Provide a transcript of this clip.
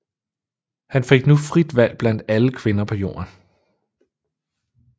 Han fik nu frit valg blandt alle kvinder på jorden